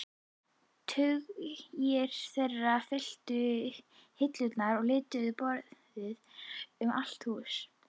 Tugir þeirra fylla hillur og lítil borð um allt húsið.